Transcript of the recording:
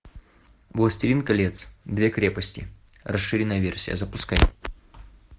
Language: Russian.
властелин колец две крепости расширенная версия запускай